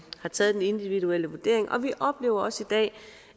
individuel vurdering vi oplever også i dag